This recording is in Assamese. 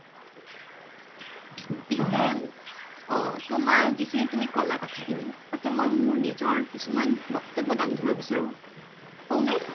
পিছে তোমাৰ যিখিনি তুমি কলা কথা খিনি তাতে মই নিজৰ কিছুমান বক্তব্য দাঙি ধৰিব বিচাৰো কওঁ নে ?